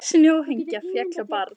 Snjóhengja féll á barn